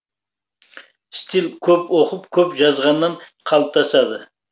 стиль көп оқып көп жазғаннан қалыптасады